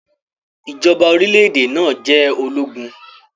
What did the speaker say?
Ijọba orilẹ-ede naa jẹ ologun.